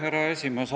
Härra esimees!